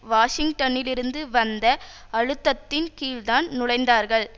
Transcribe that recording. வாஷிங்டனிலிருந்து வந்த அழுத்தத்தின் கீழ்தான் நுழைந்தார்கள்